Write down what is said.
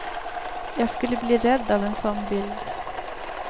Jag skulle bli rädd av en sådan bild.